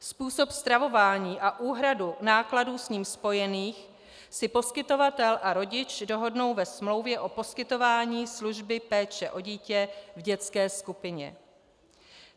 Způsob stravování a úhradu nákladů s ním spojených si poskytovatel a rodič dohodnou ve smlouvě o poskytování služby péče o dítě v dětské skupině.